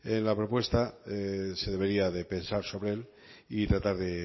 en la propuesta se debería de pensar sobre él y tratar de